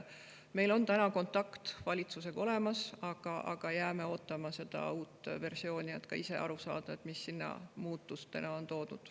Meil on kontakt valitsusega olemas, aga jääme ootama seda uut versiooni, et ka ise aru saada, mis seal muudatustena on ära toodud.